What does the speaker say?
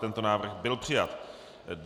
Tento návrh byl přijat.